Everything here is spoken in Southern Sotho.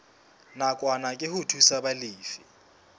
nakwana ke ho thusa balefi